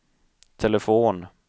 telefon